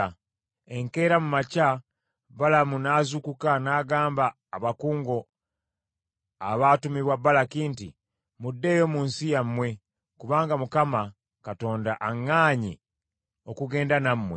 Enkeera mu makya Balamu n’azuukuka, n’agamba abakungu abaatumibwa Balaki nti, “Muddeeyo mu nsi yammwe, kubanga Mukama Katonda aŋŋaanye okugenda nammwe.”